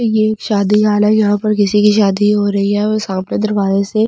ये एक शादी हाल है यहां पर किसी की शादी हो रही है और सामने दरवाजे से बहुत जादा--